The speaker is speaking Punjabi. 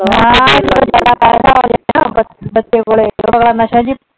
ਹਾਂ ਬੱਚੇ ਕੋਲ . ਨਸ਼ਾ ਸੀ।